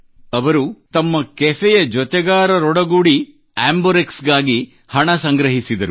ಅವರು ತಮ್ಮ ಕೆಫೆಯ ಆಂಬರ್ಕ್ಸ್ ಗಾಗಿ ಹಣ ಸಂಗ್ರಹಿಸಿದರು